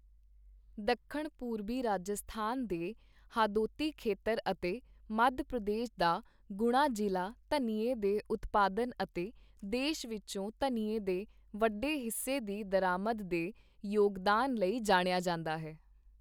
ਦੱਖਣ ਪੂਰਬੀ ਰਾਜਸਥਾਨ ਦੇ ਹਾਦੋਤੀ ਖੇਤਰ ਅਤੇ ਮੱਧ ਪ੍ਰਦੇਸ ਦਾ ਗੁਣਾ ਜ਼ਿਲ਼੍ਹਾ ਧਨੀਏ ਦੇ ਉਤਪਾਦਨ ਅਤੇ ਦੇਸ਼ ਵਿਚੋਂ ਧਨੀਏ ਦੇ ਵੱਡੇ ਹਿੱਸੇ ਦੀ ਦਰਾਮਦ ਦੇ ਯੋਗਦਾਨ ਲਈ ਜਾਣਿਆ ਜਾਂਦਾ ਹੈ।